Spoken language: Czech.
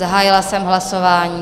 Zahájila jsem hlasování.